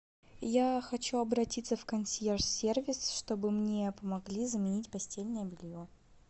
я хочу обратиться в консьерж сервис чтобы мне помогли заменить постельное белье